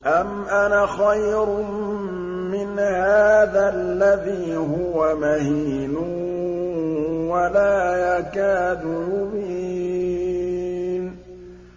أَمْ أَنَا خَيْرٌ مِّنْ هَٰذَا الَّذِي هُوَ مَهِينٌ وَلَا يَكَادُ يُبِينُ